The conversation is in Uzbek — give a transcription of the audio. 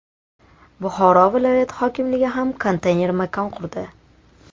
Buxoro viloyati hokimligi ham konteyner makon qurdi .